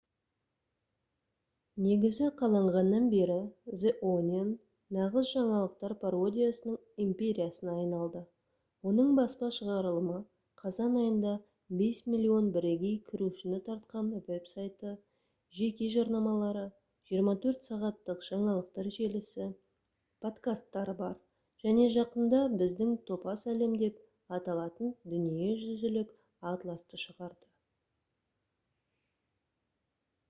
негізі қаланғаннан бері the onion нағыз жаңалықтар пародиясының империясына айналды. оның баспа шығарылымы қазан айында 5 000 000 бірегей кірушіні тартқан веб-сайты жеке жарнамалары 24 сағаттық жаңалықтар желісі подкасттары бар және жақында «біздің топас әлем» деп аталатын дүниежүзілік атласты шығарды